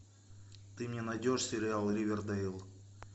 ты мне найдешь сериал ривердейл